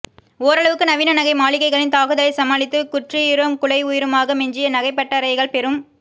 ஓரளவுக்கு நவீன நகை மாளிகைகளின் தாக்குதலை சமாளித்து குற்றுயிரும் குலை உயிருமாக மிஞ்சிய நகைப்பட்டரைகள் பெரும்